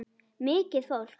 Mikið fólk.